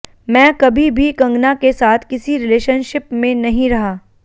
मैं कभी भी कंगना के साथ किसी रिलेशनशिप में नहीं रहा